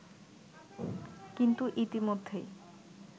কিন্তু ইতিমধ্যেই